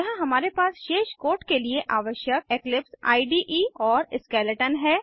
यहाँ हमारे पास शेष कोड के लिए आवश्यक इक्लिप्स इडे और स्केलेटन है